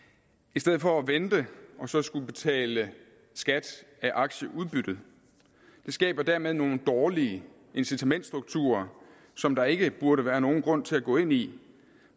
i stedet for at vente og så skulle betale skat af aktieudbyttet det skaber dermed nogle dårlige incitamentsstrukturer som der ikke burde være nogen grund til at gå ind i